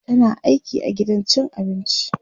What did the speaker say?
tana aiki a gidan cin abinci